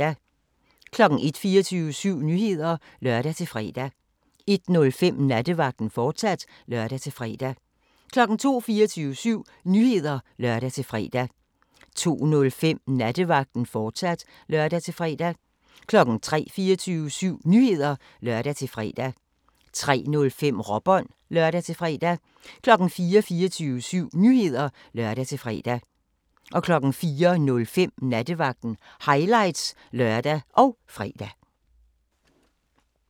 01:00: 24syv Nyheder (lør-fre) 01:05: Nattevagten, fortsat (lør-fre) 02:00: 24syv Nyheder (lør-fre) 02:05: Nattevagten, fortsat (lør-fre) 03:00: 24syv Nyheder (lør-fre) 03:05: Råbånd (lør-fre) 04:00: 24syv Nyheder (lør-fre) 04:05: Nattevagten – highlights (lør og fre)